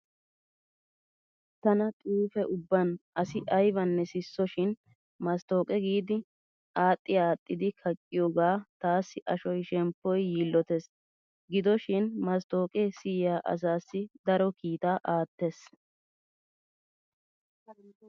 Tana xuufe ubban asi aybanne sisso shin masttooqe giidi axxi aaxxidi kaqqiyoogaa taassi ashoy shemppoy yiillotees. Gidoshin masttooqe siyiyaa asaassi daro kiitaa aattees.